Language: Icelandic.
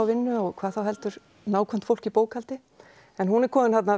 vinnu og hvað þá heldur nákvæmt fólk í bókhaldi en hún er komin